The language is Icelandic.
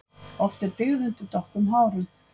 Oft er dyggð undir dökkum hárum.